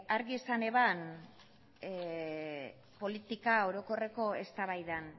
argi esan zuen politika orokorreko eztabaidan